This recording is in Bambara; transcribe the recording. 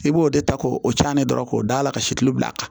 I b'o de ta k'o caalen dɔrɔn k'o da a la ka si kilu bila a kan